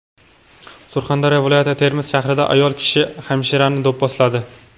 Surxondaryo viloyati Termiz shahrida ayol kishi hamshirani do‘pposladi.